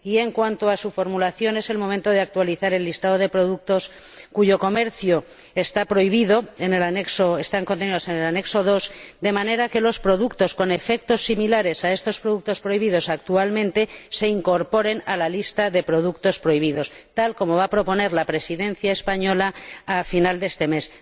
En cuanto a su formulación, es el momento de actualizar el listado de productos contenidos en el anexo II cuyo comercio está prohibido, de manera que los productos con efectos similares a estos productos prohibidos actualmente se incorporen a la lista de productos prohibidos, tal como va a proponer la Presidencia española al final de este mes.